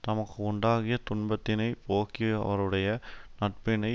தமக்கு உண்டாகிய துன்பத்தினைப் போக்கி யவருடைய நட்பினை